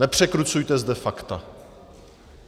Nepřekrucujte zde fakta.